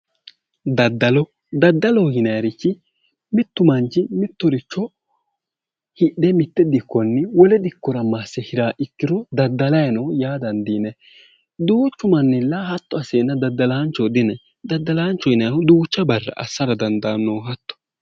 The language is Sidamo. Daddalo, daddaloho yinaayirichi mittu manchi mittoricho hidhe mitte dikkonni wole dikkora masse hiraa ikkiro daddalayi no yaa dandiinayi duuchu manilla hatto asseenna daddalaanchoho di yinayi. daddalaanchoho yinaayiihu duucha barra assara dandaannoho hatto.